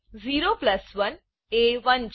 0 plus 1 એ 1 છે